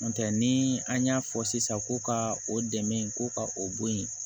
N'o tɛ ni an y'a fɔ sisan ko ka o dɛmɛ ko ka o bɔ yen